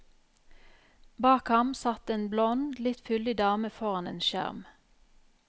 Bak ham satt en blond, litt fyldig dame foran en skjerm.